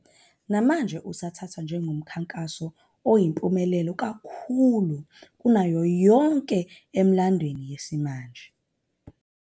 Namanje usathathwa njengomkhankaso oyimpumelelo kakhulu kunayo yonke emlandweni wesimanje.